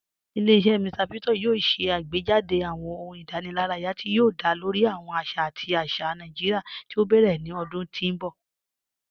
Ilẹ̀-iṣẹ Mr Victor yoo ṣè àgbéjádé̀ awọn ọ̀hùn ìdànìláraya ti o dá lórí awọn àṣà àti àṣà Naijiria ti o bẹrẹ̀ ni ọ̀dún ti n bọ̀.